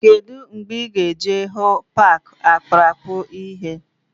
Kedụ mgbe ị ga-eje hụ paaki akpụrụakpụ ịhe?